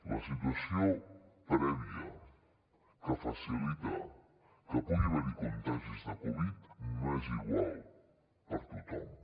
la situació prèvia que facilita que pugui haver hi contagis de covid dinou no és igual per a tothom